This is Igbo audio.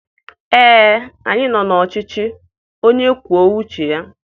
Ee, anyị nọ n'ọchịchị onye kwuo uche ya.